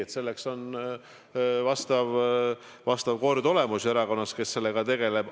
Ei, selleks on vastav kord olemas erakonnas ja inimene, kes sellega tegeleb.